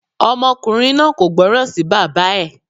Ọmọkùnrin náà kò gbọ́ràn sí bàbá ẹ̀.